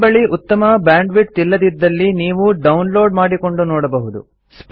ನಿಮ್ಮ ಬಳಿ ಉತ್ತಮ ಬ್ಯಾಂಡ್ವಿಡ್ತ್ ಇಲ್ಲದಿದ್ದಲ್ಲಿ ನೀವು ಡೌನ್ಲೋಡ್ ಮಾಡಿಕೊಂಡು ನೋಡಬಹುದು